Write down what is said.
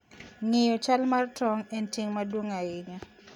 Ng'eyo chal mar tong' en ting' maduong' ahinya.